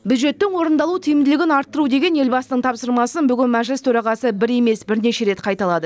бюджеттің орындалу тиімділігін арттыру деген елбасының тапсырмасын бүгін мәжіліс төрағасы бір емес бірнеше рет қайталады